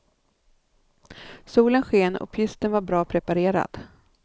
Solen sken och pisten var bra preparerad.